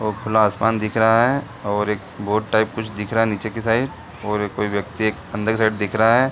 वो खुला आसमान दिख रहा है और एक बोट टाइप कुछ दिख रहा है नीचे की साइड और कोई व्यक्ति एक अंदर की साइड दिख रहा है।